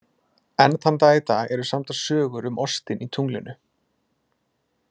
Enn þann dag í dag eru samdar sögur um ostinn í tunglinu.